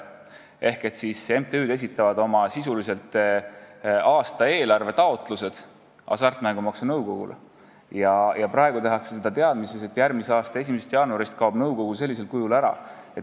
MTÜ-d esitavad oma aastaeelarve taotlused Hasartmängumaksu Nõukogule ja praegu tehakse seda teadmises, et järgmise aasta 1. jaanuarist kaob nõukogu sellisel kujul ära.